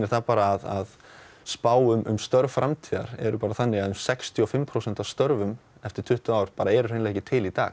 það að spá um störf framtíðar eru bara þannig að sextíu og fimm prósent af störfum eftir tuttugu ár eru ekki til í dag